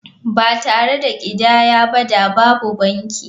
Ba tare da ƙidaya ba da babu banki.